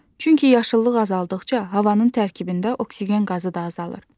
Çünki yaşıllıq azaldıqca havanın tərkibində oksigen qazı da azalır.